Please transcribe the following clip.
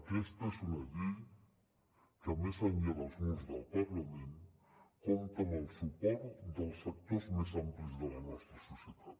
aquesta és una llei que més enllà dels murs del parlament compta amb el suport dels sectors més amplis de la nostra societat